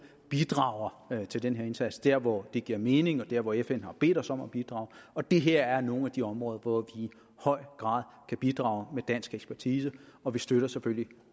bidrager til den her indsats der hvor det giver mening og der hvor fn har bedt os om at bidrage og det her er nogle af de områder hvor vi i høj grad kan bidrage med dansk ekspertise og vi støtter selvfølgelig